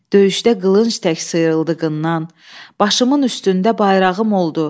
Döyüşdə qılınc tək sıyrıldığında başımın üstündə bayrağım oldu.